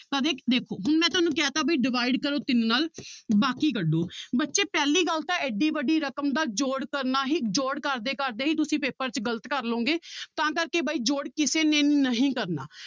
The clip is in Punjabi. ਦੇਖੋ ਹੁਣ ਮੈਂ ਤੁਹਾਨੂੰ ਕਹਿ ਦਿੱਤਾ ਵੀ divide ਕਰੋ ਤਿੰਨ ਨਾਲ ਬਾਕੀ ਕੱਢੋ ਬੱਚੇ ਪਹਿਲੀ ਗੱਲ ਤਾਂ ਇੱਡੀ ਵੱਡੀ ਰਕਮ ਦਾ ਜੋੜ ਕਰਨਾ ਹੀ ਜੋੜ ਕਰਦੇ ਕਰਦੇ ਹੀ ਤੁਸੀਂ ਪੇਪਰ 'ਚ ਗ਼ਲਤ ਕਰ ਲਵੋਂਗੇ ਤਾਂ ਕਰਕੇ ਬਾਈ ਜੋੜ ਕਿਸੇ ਨੇ ਨਹੀਂ ਕਰਨਾ